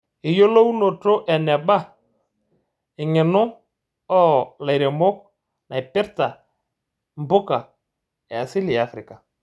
Eyiolounoto eneba eng'eno oo laiemok naipirta mpuka e asili e Afrika.